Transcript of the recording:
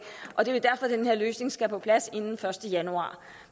og det er derfor den her løsning skal på plads inden den første januar